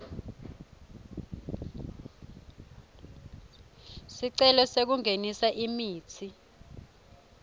sicelo sekungenisa imitsi